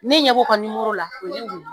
Ne ɲɛ b'o ka la